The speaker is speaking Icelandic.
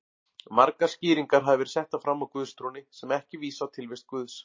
Margar skýringar hafa verið settar fram á guðstrúnni sem ekki vísa á tilvist Guðs.